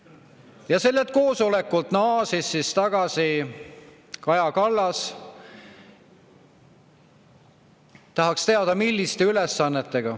Tahaks teada, mis ülesannetega Kaja Kallas sellelt koosolekult naasis.